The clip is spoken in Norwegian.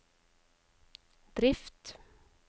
drift